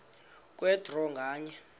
kwe draw nganye